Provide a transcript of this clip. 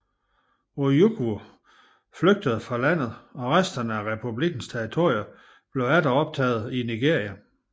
Ojukwu flygtede fra landet og resterne af republikkens territorier blev atter optaget i Nigeria